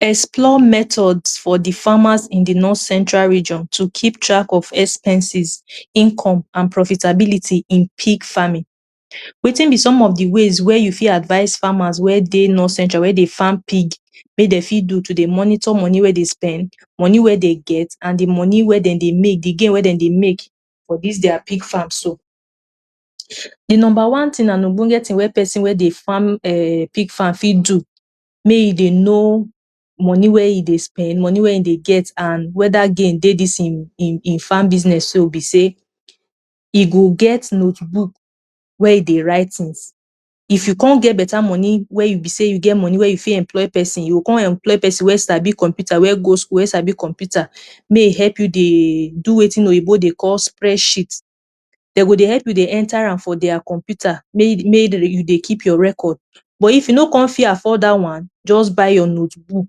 Explore methods for the farmers in the North Central region to keep track of expenses, income, an profitability in pig farming. Wetin be some of the ways wey you fit advice farmers wey dey North Central wey dey farm pig wey de fit do to dey monitor money wey de spend, money wey de get, an the money wey de dey make—the gain wey de dey make— for dis dia pig farm so? The nomba one tin an ogbonge wey peson wey dey farm um pig farm fit do make e dey know money wey e dey spend, money wey e dey get, an whether gain dey im im farm business so be sey e go get notebook where e dey write tins. If you con get beta money wey you be sey you get money wey you fit employ peson, you go con employ peson wey sabi computer wey go school wey sabi computer make e help you dey do wetin oyinbo dey call spreadsheet. De go dey help you dey enter am for dia computer make make you dey keep your record. But if you no con fit afford dat one, juz buy your notebook.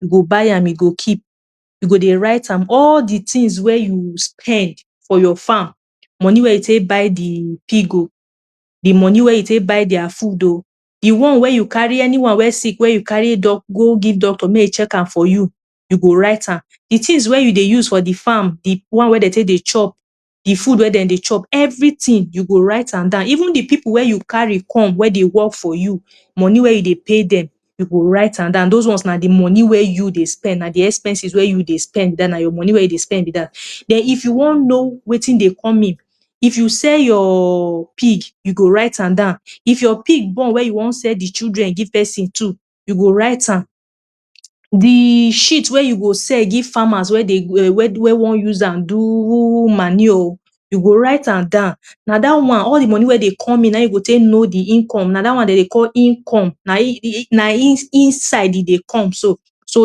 You go buy am you go keep. You go dey write am all the tins wey you spend for your farm: money wey you take buy the pig oh, the money wey you take buy dia food oh, the one wey you carry anyone wey sick wey you carry go give doctor make e check am for you, you go write am. The tins wey you dey use for the farm the one wey de take dey chop, the food wey de dey chop, everything you go write am down. Even the pipu wey you carry come wey dey work for you, money wey you dey pay dem, you go write am down. Dos ones na the money wey you dey spend. Na the expenses wey you dey spend be dat, na your money wey you dey spend be dat. Then if you wan know wetin dey come in, if you sell your pig, you go write am down. If your pig born wey you wan sell the children give peson too, you go write am. The shit wey you go sell give farmers wey dey wey wey wan use am do manure, you go write am down. Na dat one—all the money wey dey come in— na ein you go take know the income. Na dat one de dey call income. Na in in na in inside e dey come so. So,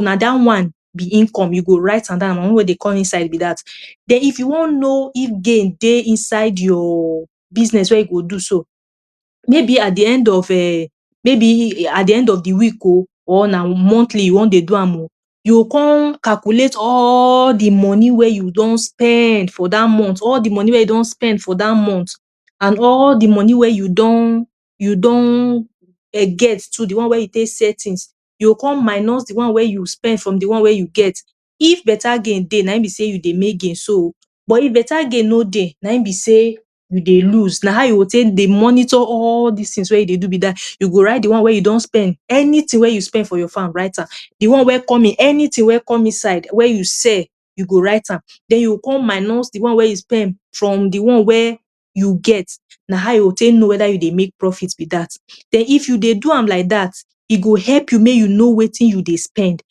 na dat one be income. You go write am down. Na money wey dey come inside be dat. Then if you wan know if gain dey inside your business wey you go do so, maybe at the end of um maybe at the end of the week oh or na monthly you wan dey do am oh, you con calculate all the money wey you don spend for dat month, all the money wey you don spend for dat month, an all the money wey you don you don um get too—the one wey you take sell tins— you con minus the ones wey you spend from the one wey you get. If beta gain dey, na ein be sey you dey make gain so, but if beta gain no dey, na ein be sey you dey lose. Na how you go take dey monitor all dis tins wey you dey do be dat. You go write the one wey you don spend. Anything wey you spend for your farm, write am. The one wey come in, anything wey come inside wey you sell, you go write am. Then you go con minus the one wey you spend from the one wey you get. Na how you go take know whether you dey make profit be dat. Then if you dey do am like dat, e go help you make you know wetin you dey spend,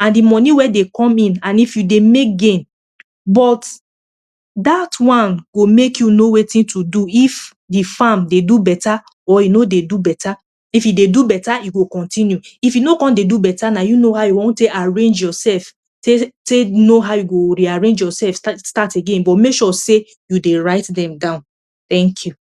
an the money wey dey come in, an if you dey make gain. But dat one go make you know wetin to do if the farm dey do beta or e no dey do beta. If e dey do beta, you go continue. If e no con dey do beta, na you know how you wan take arrange yoursef take take know how you go rearrange yoursef start again but make sure sey you dey write dem down. Thank you.